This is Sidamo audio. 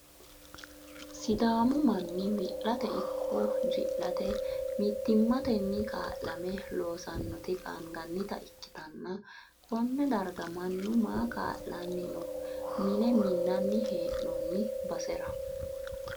sidaamu manni wi'late ikko ji'late mittimmatenni kaa'lame loosannoti qaangannita ikkitanna, konne darga mannu maa kaa'lanni no mine minnani hee'noonni basera?